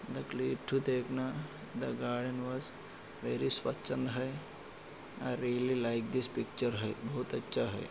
The click to देखना the garden was very स्वचन्द है I really like this picture है बहुत अच्छा है।